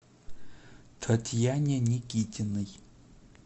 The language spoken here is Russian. татьяне никитиной